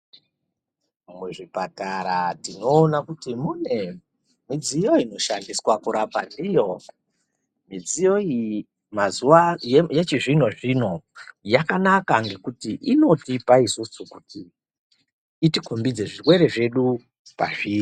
Muzvipatara tinoona kuti mune midziyo inoshandiswa kurapa ndiyo. Mudziyo iyi mazuva ano yechizvinozvino yakanaka ngekuti inotipa isusu kuti itikombidze zvirwere zvedu pazviri.